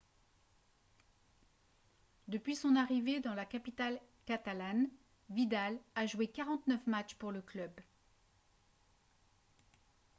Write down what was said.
depuis son arrivée dans la capitale catalane vidal a joué 49 matchs pour le club